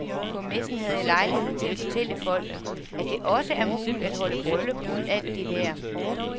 På messen havde jeg lejlighed til at fortælle folk, at det også er muligt at holde bryllup uden alt det der.